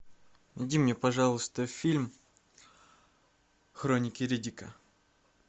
найди мне пожалуйста фильм хроники риддика